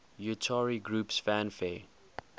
utari groups fanfare